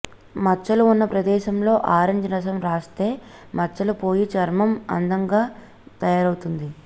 మచ్చలు ఉన్న ప్రదేశంలో ఆరెంజ్ రసం రాస్తే మచ్చలు పోయి చర్మం అందముగా తయారవుతుంది